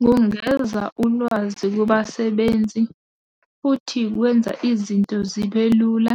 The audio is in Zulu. Kungeza ulwazi kubasebenzi, futhi kwenza izinto zibe lula,